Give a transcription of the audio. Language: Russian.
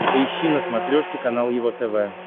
поищи на смотрешке канал его тв